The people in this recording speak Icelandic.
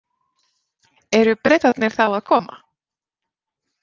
Eru Bretarnir þá að koma?